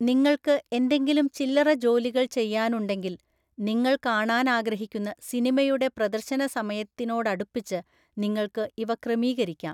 നിങ്ങൾക്ക് എന്തെങ്കിലും ചില്ലറ ജോലികള്‍ ചെയ്യാനുണ്ടെങ്കിൽ, നിങ്ങൾ കാണാൻ ആഗ്രഹിക്കുന്ന സിനിമയുടെ പ്രദർശനസമയത്തിനോടടുപ്പിച്ച് നിങ്ങൾക്ക് ഇവ ക്രമീകരിക്കാം.